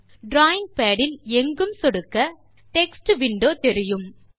drawing pad இல் எங்கும் சொடுக்க டெக்ஸ்ட் விண்டோ தெரியும்